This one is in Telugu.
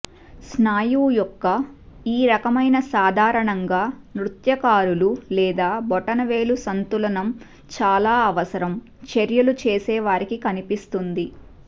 స్నాయువు యొక్క ఈ రకమైన సాధారణంగా నృత్యకారులు లేదా బొటనవేలు సంతులనం చాలా అవసరం చర్యలు చేసే వారికి కనిపిస్తుంది